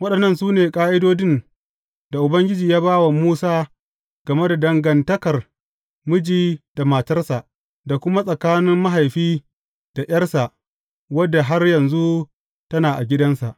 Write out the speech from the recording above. Waɗannan su ne ƙa’idodin da Ubangiji ya ba wa Musa game da dangantakar miji da matarsa, da kuma tsakanin mahaifi da ’yarsa wadda har yanzu tana a gidansa.